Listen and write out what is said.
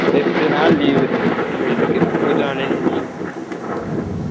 ஏட்டு நால் leave இந்த இதுக்கு, pooja holidays